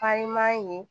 Farinman ye